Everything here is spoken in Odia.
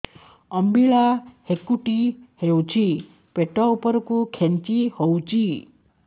ଅମ୍ବିଳା ହେକୁଟୀ ହେଉଛି ପେଟ ଉପରକୁ ଖେଞ୍ଚି ହଉଚି